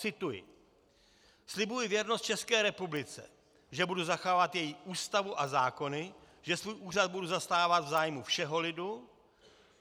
Cituji: "Slibuji věrnost České republice, že budu zachovávat její Ústavu a zákony, že svůj úřad budu zastávat v zájmu všeho lidu."